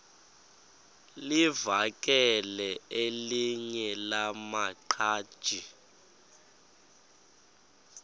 livakele elinye lamaqhaji